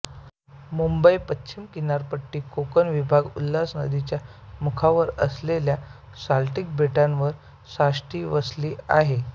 मुंबई पश्चिम किनारपट्टीत कोकण विभाग उल्हास नदीच्या मुखावर असलेल्या साल्सेट बेटांवर साष्टी वसले आहे